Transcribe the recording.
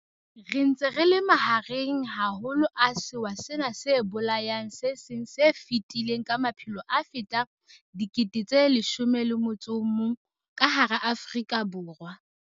Re ntse re le mahareng haholo a sewa sena se bolayang se seng se fetile ka maphelo a fetang 11 000 ka hara Afrika Borwa feela.